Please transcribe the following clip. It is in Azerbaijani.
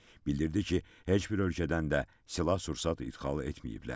Bildirdi ki, heç bir ölkədən də silah-sursat idxal etməyiblər.